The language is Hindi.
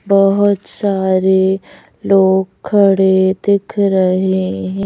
बहुत सारे लोग खड़े दिख रहे हैं।